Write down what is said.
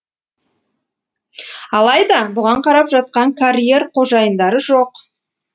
алайда бұған қарап жатқан карьер қожайындары жоқ